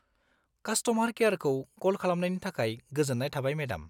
-Customer केयारखौ कल खालामनायनि थाखाय गोजोन्नाय थाबाय, मेडाम।